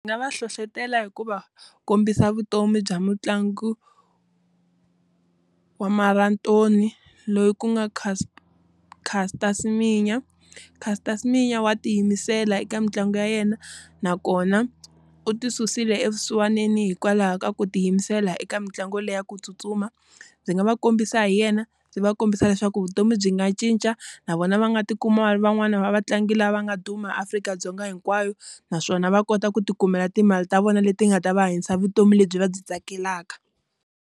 Nga va hlohletela hi ku va kombisa vutomi bya mutlangi, wa marantori, loyi ku nga Caster Semenya. Caster Semenya wa tiyimisela eka mitlangu ya yena. Nakona u tisusile evusiwaneni hikwalaho ka ku tiyimisela eka mitlangu leyi ya ku tsutsuma. Ndzi nga va kombisa hi yena, ndzi va kombisa leswaku vutomi byi nga cinca. Na vona va nga ti kuma ri van'wana va vatlangi lava nga duma Afrika-Dzonga hinkwayo. Naswona va kota ku ti kumela timali ta vona leti nga ta va hanyisa vutomi lebyi va byi tsakelaka.